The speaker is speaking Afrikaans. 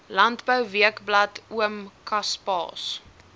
landbouweekblad oom kaspaas